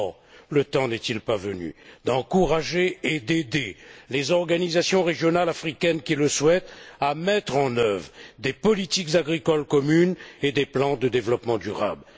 Or, le temps n'est il pas venu d'encourager et d'aider les organisations régionales africaines qui le souhaitent à mettre en œuvre des politiques agricoles communes et des plans de développement durable?